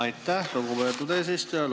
Aitäh, lugupeetud eesistuja!